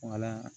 Wala